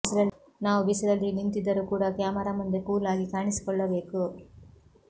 ನಾವು ಬಿಸಿಲಲ್ಲಿ ನಿಂತಿದ್ದರೂ ಕೂಡ ಕ್ಯಾಮರಾ ಮುಂದೆ ಕೂಲ್ ಆಗಿ ಕಾಣಿಸಿಕೊಳ್ಳಬೇಕು